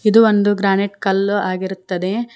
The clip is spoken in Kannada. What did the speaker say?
ಇದು ಒಂದು ಗ್ರಾನೈಟ್ ಕಲ್ಲು ಆಗಿರುತ್ತದೆ.